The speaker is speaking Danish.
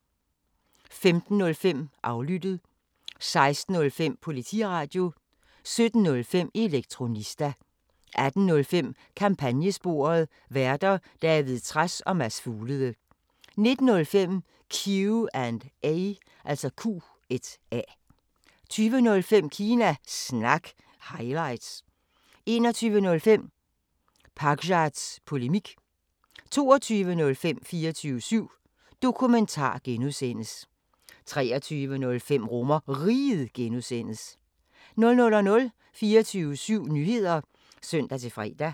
15:05: Aflyttet 16:05: Politiradio 17:05: Elektronista 18:05: Kampagnesporet: Værter: David Trads og Mads Fuglede 19:05: Q&A 20:05: Kina Snak – highlights 21:05: Pakzads Polemik 22:05: 24syv Dokumentar (G) 23:05: RomerRiget (G) 00:00: 24syv Nyheder (søn-fre)